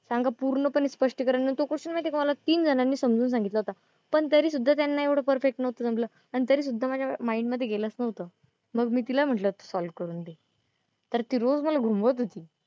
सांगा पूर्णपणे स्पष्टीकरण तो question मला तीन जणांनी समजून सांगितला होता. पण तरीसुद्धा त्यांना एवढं पर्फेक्ट नव्हतं जमलं. अन तरीसुद्धा माझ्या माईंड मध्ये गेलंच नव्हतं. मग मी तिला म्हंटलं होतं सॉल्व्ह करून दे. तर ती रोज मला घुमवत होती.